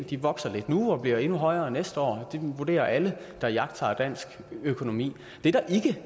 de vokser lidt nu og bliver endnu højere næste år det vurderer alle der iagttager dansk økonomi det der